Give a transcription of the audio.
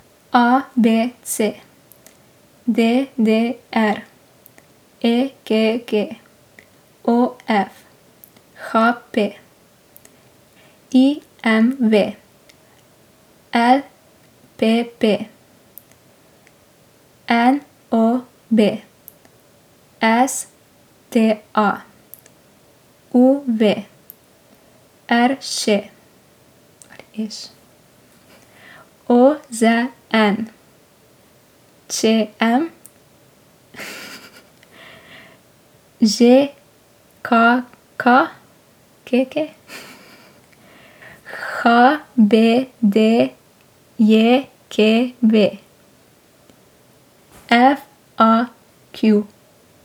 A B C; D D R; E K G; O F; H P; I M V; L P P; N O B; S T A; U V; R Š ali je Š; O Z N; Č M; Ž K K K K; H B D J K V; F A Q.